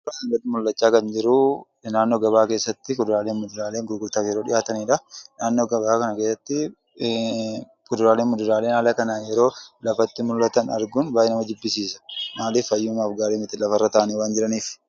Asirratti mul'achaa kan jiru naannoo gabaa keessatti kuduraalee fi muduraaleen gurgurtaaf yeroo dhiyaatanii dha. Naannoo gabaa kana keessatti kuduraalee fi muduraaleen haala kanaan yeroo lafatti mul'atan arguun baay'ee nama jibbisiisa. Maaliif? Fayyummaaf gaarii miti lafarra taa'anii waan jiraniif.